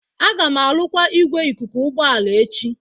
Aga m arụkwa igwe ikuku ụgbọ ala echi